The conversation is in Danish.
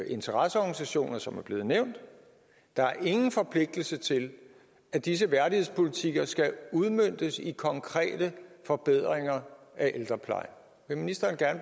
interesseorganisationer som er blevet nævnt der er ingen forpligtelse til at disse værdighedspolitikker skal udmøntes i konkrete forbedringer af ældreplejen vil ministeren